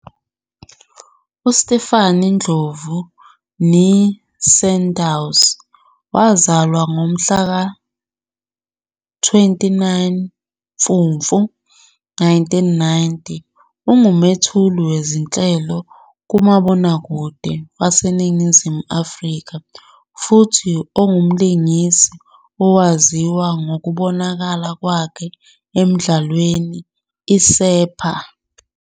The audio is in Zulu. UStephanie Ndlovu, née Sandows, owazalwa ngomhla ka-29 Mfumfu 1990, ungumethuli wezinhlelo kumabonakude waseNingizimu Afrika futhi ongumlingisi owaziwa ngokubonakala kwakhe emdlalweni "iSepha!"